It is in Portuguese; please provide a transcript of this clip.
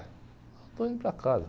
Só estou indo para casa.